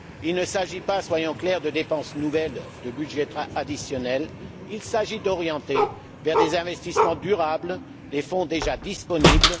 Il ne s'agit pas, soyons clairs, de dépenses nouvelles, de budgets additionnels, il s'agit d'orienter vers des investissements durables les fonds déjà disponibles.